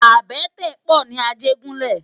Àbètè pò ni Ajegunle